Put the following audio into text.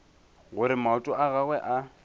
gore maoto a gagwe a